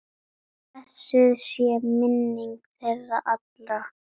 Blessuð sé minning þeirra allra.